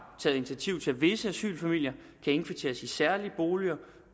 taget initiativ til at visse asylfamilier kan indkvarteres i særlige boliger